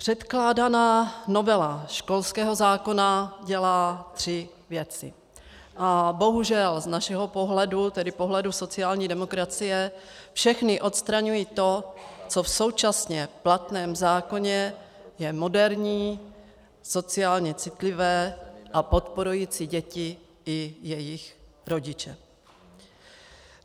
Předkládaná novela školského zákona dělá tři věci a bohužel z našeho pohledu, tedy pohledu sociální demokracie, všechny odstraňují to, co v současně platném zákoně je moderní, sociálně citlivé a podporující děti i jejich rodiče.